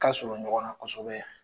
Ka surun ɲɔgɔnna kosɛbɛ?